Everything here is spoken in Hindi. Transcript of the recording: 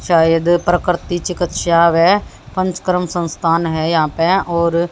शायद प्रकृति चिकित्साव हैं पंचकर्म संस्थान हैं यहाँ पे और--